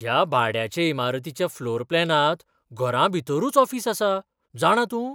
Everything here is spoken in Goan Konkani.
ह्या भाड्याचे इमारतीच्या फ्लोर प्लानांत घरांभितरूच ऑफिस आसा, जाणा तूं?